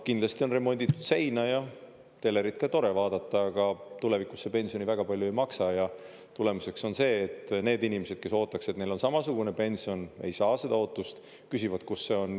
Kindlasti on remonditud seina ja telerit tore vaadata, aga tulevikus see pensioni väga palju ei maksa ja tulemuseks on see, et need inimesed, kes ootaks, et neil on samasugune pension, ei saa seda ootust, küsivad, kus see on.